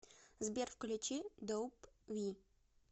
сбер включи доуп ви